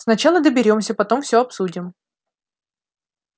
сначала доберёмся потом все обсудим